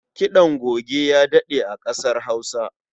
Kiɗan goge ya daɗe a ƙasar Hausa.